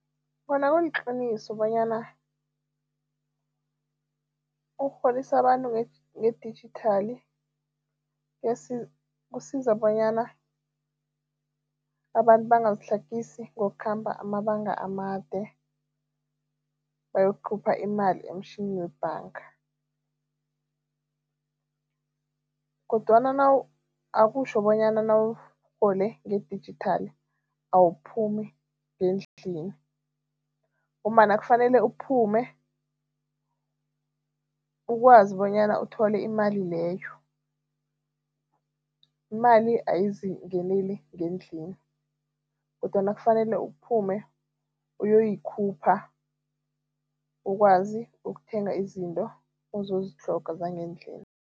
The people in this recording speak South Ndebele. Kona kuliqiniso bonyana ukurholisa abantu ngedijithali kusiza bonyana abantu bangazitlhagisi ngokukhamba amabanga amade bayokukhupha imali emtjhini webhanga kodwana akutjho bonyana nawurhole ngedijithali awuphumi ngendlini ngombana kufanele uphume, ukwazi bonyana uthole imali leyo. Imali ayizingeneli ngendlini kodwana kufanele uphume uyoyikhupha ukwazi ukuthenga izinto ozozitlhoga zangendlini.